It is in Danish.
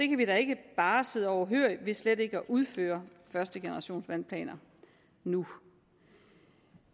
kan vi da ikke bare sidde overhørig ved slet ikke at udføre første generation af vandplaner nu